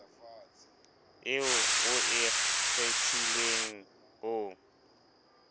eo o e kgethileng o